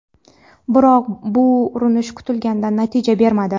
Biroq, bu urinish kutilgan natija bermadi.